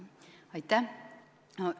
Aitäh!